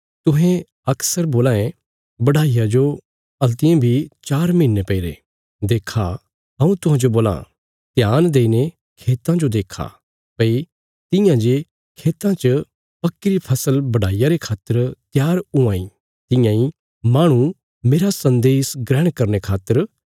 तुहें अक्सर बोलां ये बढाईया जो हल्तियें बी चार महीने पैईरे देक्खा हऊँ तुहांजो बोलां ध्यान देईने खेतां जो देक्खा भई तियां जे खेतां च पक्कीरी फसल बढाईया रे खातर त्यार हुआं इ तियां इ माहणु मेरा सन्देश ग्रहण करने खातर त्यार आ